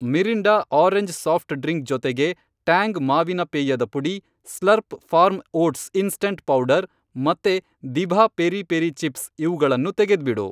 Mirinda orange soft drink ಜೊತೆಗೆ Tang ಮಾವಿನ ಪೇಯದ ಪುಡಿ, Slurrp Farm oats instant powder ಮತ್ತೆ ದಿಭಾ ಪೆರಿ ಪೆರಿ ಚಿಪ್ಸ್ ಇವ್ಗಳನ್ನೂ ತೆಗೆದ್ಬಿಡು.